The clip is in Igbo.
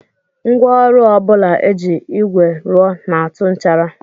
Ngwaọrụ ọ bụla e ji ígwè rụọ na-atụ nchara